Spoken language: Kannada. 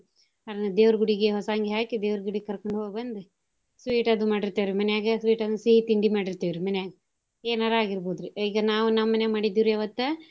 ಅವ್ರ್ನ ದೇವ್ರ ಗುಡಿಗೆ ಹೊಸಾ ಅಂಗಿ ಹಾಕಿ ದೇವ್ರ ಗುಡಿಗ್ ಕರ್ಕೊಂಡ್ ಹೋಗಿ ಬಂದು sweet ಅದು ಮಾಡಿರ್ತೇವ್ ರಿ ಮನ್ಯಾಗ sweet ಅಂದ್ರ ಸಿಹಿ ತಿಂಡಿ ಮಾಡಿರ್ತೇವ್ ರಿ ಮನ್ಯಾಗ, ಎನಾರ ಅಗಿರ್ಬೋದ್ ರಿ ಈಗ್ ನಾವ್ ನಮ್ ಮನ್ಯಾಗ್ ಮಾಡಿದ್ವಿ ರಿ ಅವತ್ತ.